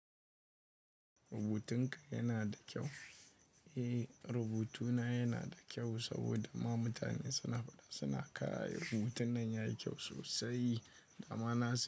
Rubutunka yana da kyau. Eh, rubutuna yana da kyau saboda ma mutane suna faɗa suna kayi rubutun nan yayi kyau sosai. Da ma na sani.